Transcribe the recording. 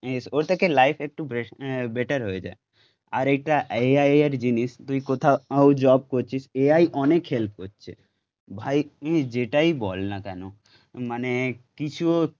স ওর থেকে লাইফ একটু বেস্ট বেটার হয়ে যায় আর এইটা এআইএর জিনিস, তুই কোথাও জব করছিস, এআই অনেক হেল্প করছে, ভাই প্লিজ যেটাই বল না কেন, মানে কিছুও